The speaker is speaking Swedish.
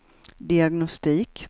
diagnostik